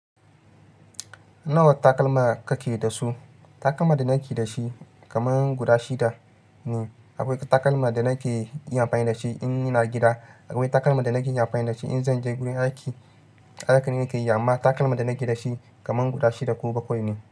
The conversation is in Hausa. Nawa takalma kake da su? Takalma da nake da shi kaman guda shida ne. Akwai takalma da nake iya amfani da shi in ina gida. Akwai takalma da nake iya amfani da shi in zan je gurin aiki. Haka ne nake yi, amma takalma da nake da shi kaman guda shida ko bakwai ne.